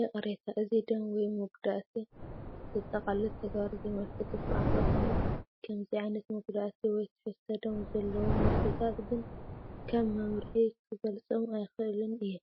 ይቕሬታ! እዚ ደም ወይ መጉዳእቲ ዘጠቓልል ተግባር ዘመልክት’ኳ እንተኾነ፡ ከምዚ ዓይነት መጉዳእቲ ወይ ትሕዝቶ ደም ዘለዎም ምስልታት ግን ከም መምርሒ ክገልጾም ኣይክእልን’የ።